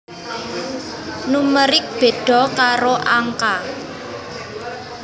Numerik béda karo angka